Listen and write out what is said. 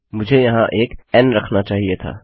मुझे यहाँ एक एन रखना चाहिए था